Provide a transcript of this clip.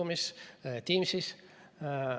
Mitte Zoomis, vaid Teamsis.